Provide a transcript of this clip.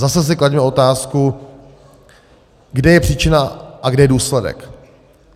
Zase si klaďme otázku, kde je příčina a kde je důsledek.